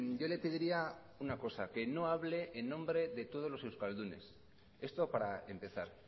yo le pediría una cosa que no hable en nombre de todos los euskaldunes esto para empezar